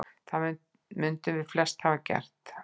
Það mundum við flest hafa gert.